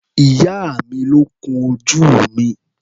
Ìyá mi ló kun ojú mi.